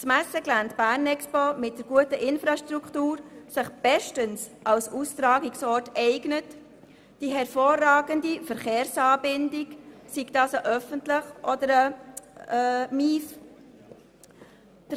Das Messegelände Bernexpo mit der guten Infrastruktur eignet sich dank der hervorragenden Verkehrsanbindung bestens als Austragungsort, sei es mit dem öffentlichen oder mit dem motorisierten Individualverkehr.